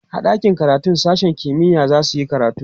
a ɗakin karatun sashen kimiya zasuyi karatu